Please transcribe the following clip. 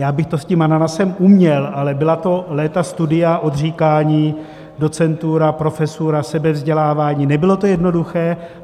Já bych to s tím ananasem uměl, ale byla to léta studia, odříkání, docentura, profesura, sebevzdělávání, nebylo to jednoduché.